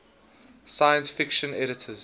science fiction editors